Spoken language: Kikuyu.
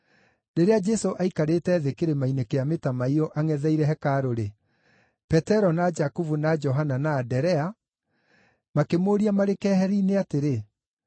Rĩrĩa Jesũ aikarĩte thĩ kĩrĩma-inĩ kĩa Mĩtamaiyũ angʼetheire hekarũ-rĩ, Petero na Jakubu na Johana na Anderea makĩmũũria marĩ keheri-inĩ atĩrĩ,